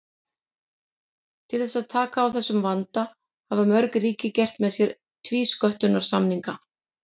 Til þess að taka á þessum vanda hafa mörg ríki gert með sér tvísköttunarsamninga.